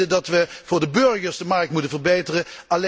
Wij vinden dat wij voor de burgers de markt moeten verbeteren.